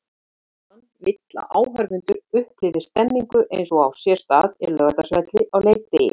Tólfan vill að áhorfendur upplifi stemningu eins og á sér stað á Laugardalsvelli á leikdegi.